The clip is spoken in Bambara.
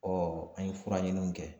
Ɔ an ye fura ɲini kɛ